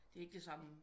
Det er ikke det samme